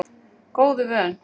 Góðu vön